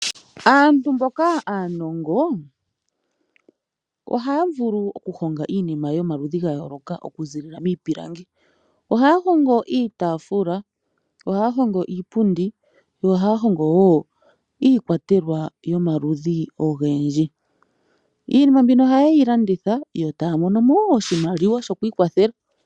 Aantu mboka aanongo oha vulu oku honga iinima yomaludhi gayoloka oku zilila miipilangi. Oha hongo iitafula, oha hongo iipundi. Yo ohaya hogo wo iikwatelwa yomaludhi ogendji. Iinima mbino oha yeyi landitha yo taya mono mo wo oshimaliwa shoku ikwathela.